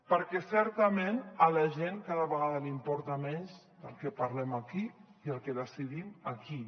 perquè certament a la gent cada vegada li importa menys de què parlem aquí i el que decidim aquí